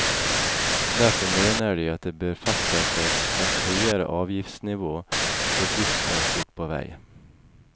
Derfor mener de at det bør fastsettes et høyere avgiftsnivå for godstransport på vei.